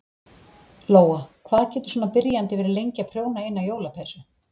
Lóa: Hvað getur svona byrjandi verið lengi að prjóna eina jólapeysu?